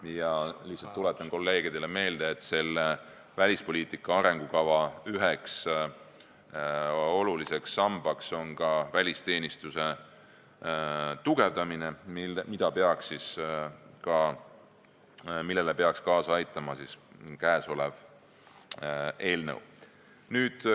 Ma lihtsalt tuletan kolleegidele meelde, et välispoliitika arengukava üheks oluliseks sambaks on välisteenistuse tugevdamine, millele peaks kaasa aitama ka käesolev eelnõu.